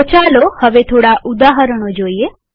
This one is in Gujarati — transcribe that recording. હવે આપણે થોડા ઉદાહરણો જોઈએ